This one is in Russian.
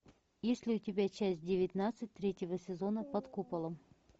есть ли у тебя часть девятнадцать третьего сезона под куполом